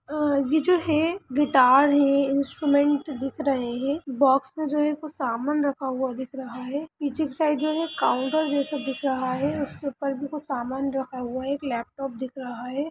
ये जो है गिटार है इंस्ट्रूमेंट दिख रहे हैं। बोक्स में जो है कुछ सामान रखा हुआ दिख रहा है पीछे के साइड जो है काउंटर जैसा दिख रहा है उस के ऊपर भी कुछ सामान रखा हुआ है। एक लेपटोप दिख रहा है।